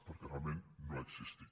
perquè realment no ha existit